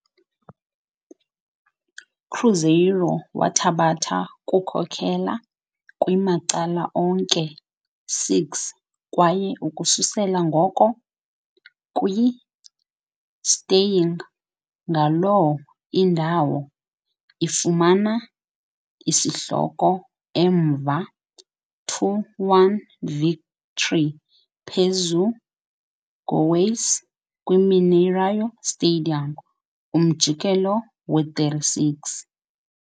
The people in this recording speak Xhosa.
Cruzeiro wathabatha kukhokela kwi-macala onke 6 kwaye ukususela ngoko kwi, staying ngaloo indawo, ifumana i-isihloko emva 2-1 victory phezu Goiás kwi - Mineirão stadium, umjikelo 36.